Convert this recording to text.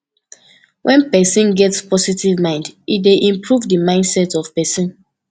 when person get positive mind e dey improve di mindset of person